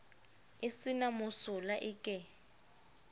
e se na mosola eke